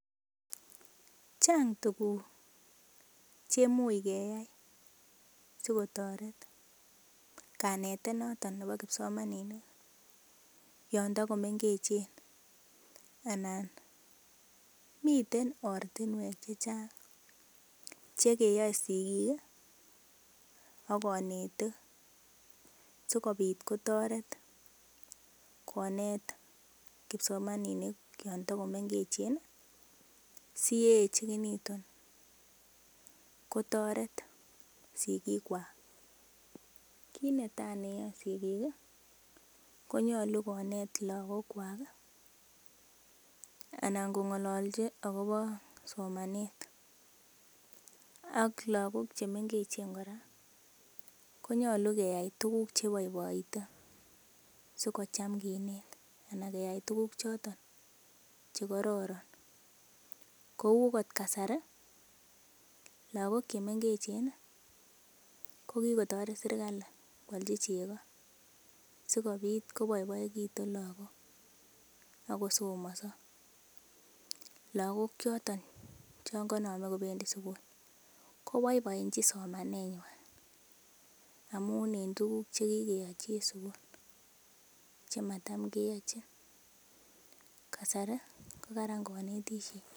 Chang tuguk che kimuch keyai sikotoret kanetet noton nebo kipsomaninik yon tago mengechen. Anan miten ortinwek che chang che kiyoe sigik ak konetik sikobit kotoret konet kipsomaninik chon togomengechen. SI ye eechegitun kotoret sigikwak. Kiit netai ne yoe sigik konyolu konet lagok kwak anan kong'olochi agobo somanet ak lagok che mengechen kora konyolu keyai tuguk che iboiboite sikocham kinet anan keyai tuguk choto che kororon kou ot kasari lagok che mengechen ko kigotoret serkalit koalchi chego sikobit koboiboegitun lagok ak kosomonso, lagok choton chon konome kobendi sugul koboiboenchin somanenywan amun en tuguk che kigeyochi en sugul che matam keyochin kasari ko karan konetishet.